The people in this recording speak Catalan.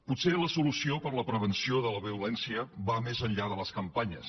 potser la solució per a la prevenció de la violència va més enllà de les campanyes